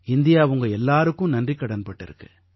India உங்க எல்லாருக்கும் நன்றிக்கடன் பட்டிருக்கு